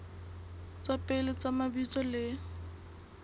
tsa pele tsa mabitso le